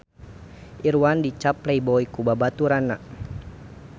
Irwan dicap playboy ku babaturanna